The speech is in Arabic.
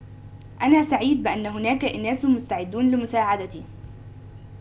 أنا سعيد بأن هناك أناس مستعدون لمساعدتي